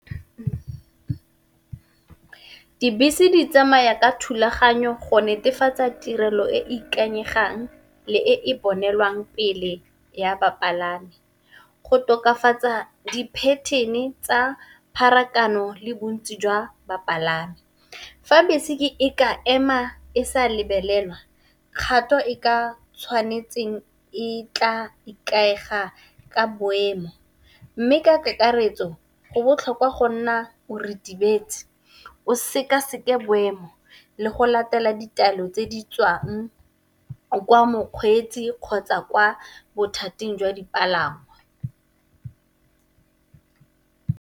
Dibese di tsamaya ka thulaganyo go netefatsa tirelo e e ikanyegang le e e bonelwang pele ya bapalami, go tokafatsa di pattern-e tsa pharakano le bontsi jwa bapalami. Fa bese e ke e ka ema e sa lebelelwa kgato e ka tshwanetseng e tla ikaega ka boemo. Mme, ka kakaretso go botlhokwa go nna o ritibetse o sekaseke boemo le go latela ditaelo tse di tswang kwa mokgweetsi kgotsa kwa bothating jwa dipalangwa.